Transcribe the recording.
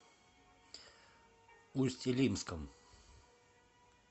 усть илимском